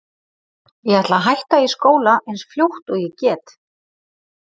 Ég ætla að hætta í skóla eins fljótt og ég get.